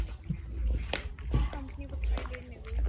company provided ਨੇ ਕੋਈ